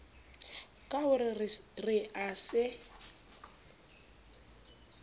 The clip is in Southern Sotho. ka ho re a se